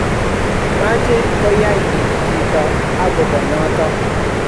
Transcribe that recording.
mache koyai kiy chito akobo notok